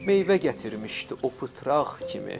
Meyvə gətirmişdi o pıtraq kimi.